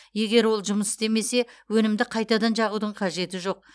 егер ол жұмыс істемесе өнімді қайтадан жағудың қажеті жоқ